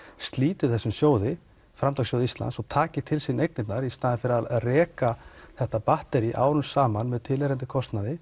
slíti þessum sjóði Framtakssjóði Íslands og taki til sín eignirnar í stað þess að reka þetta batterí árum saman með tilheyrandi kostnaði